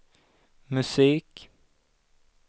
musik